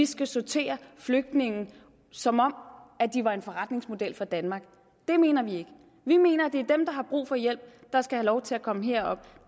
skal sortere flygtninge som om de var en forretning for danmark det mener vi ikke vi mener at det er dem der har brug for hjælp der skal lov til at komme herop